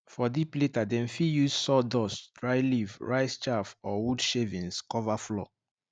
for deep litter dem fit use sawdust dry leaf rice chaff or wood shavings cover floor